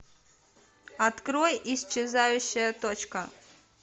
открой исчезающая точка